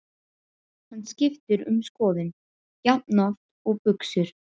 Hann skiptir um skoðun jafnoft og buxur.